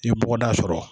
I ye bɔgɔda sɔrɔ